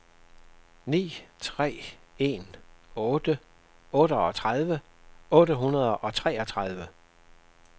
ni tre en otte otteogtredive otte hundrede og treogtredive